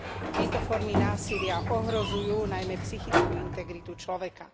Tieto formy násilia ohrozujú najmä psychickú integritu človeka.